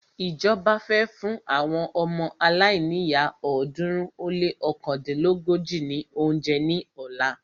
Ìjọba fẹ́ fún àwọn ọmọ aláìníyá ọ̀ọ́dúnrún ó lé ọ̀kándínlógójì ní óúnjẹ ní ọ̀la.